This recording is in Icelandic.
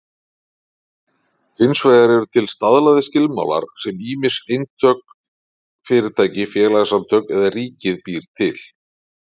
Hins vegar eru til staðlaðir skilmálar sem ýmist einstök fyrirtæki, félagasamtök eða ríkið býr til.